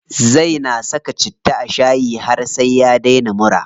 Zai na saka citta a shayi har sai ya daina mura.